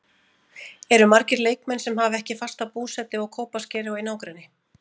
Eru margir leikmenn sem hafa ekki fasta búsetu á Kópaskeri og í nágrenni?